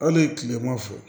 Hali kilema fɛ